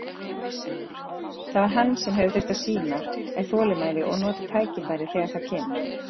Það sem hann hefur þurft að sýna er þolinmæði og nota tækifærið þegar það kemur.